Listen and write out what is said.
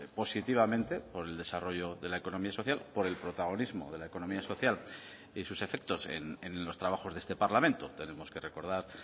positivamente por el desarrollo de la economía social por el protagonismo de la economía social y sus efectos en los trabajos de este parlamento tenemos que recordar